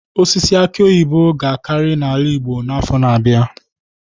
Osisi aki oyibo ga-akarị n'ala igbo n'afọ na-abịa.